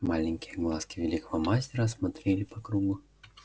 маленькие глазки великого мастера осмотрели по кругу